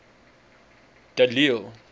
de lille